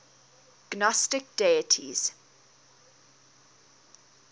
gnostic deities